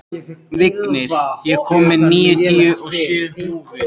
Vignir, ég kom með níutíu og sjö húfur!